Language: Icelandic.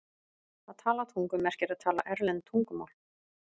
Að tala tungum merkir að tala erlend tungumál.